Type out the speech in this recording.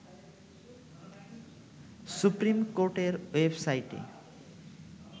supreme কোর্টের ওয়েবসাইটে